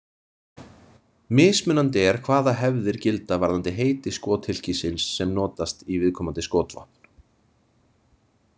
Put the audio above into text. Mismunandi er hvaða hefðir gilda varðandi heiti skothylkisins sem notast í viðkomandi skotvopn.